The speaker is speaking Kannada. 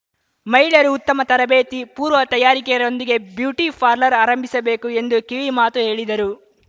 ಮಹಿಳೆಯರು ಉತ್ತಮ ತರಬೇತಿ ಪೂರ್ವ ತಯಾರಿಕೆಯೊಂದಿಗೆ ಬ್ಯೂಟಿಪಾರ್ಲರ್‌ ಆರಂಭಿಸಬೇಕು ಎಂದು ಕಿವಿಮಾತು ಹೇಳಿದರು